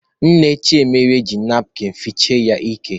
Nne Chiemelie ji napkịn fichaa ya ike.